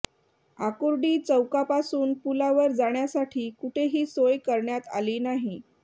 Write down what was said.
आकुर्डी चौकापासून पूलावर जाण्यासाठी कुठेही सोय करण्यात आली नाही